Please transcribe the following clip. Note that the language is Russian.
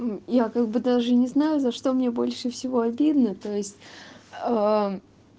я как бы даже не знаю за что мне больше всего обидно то есть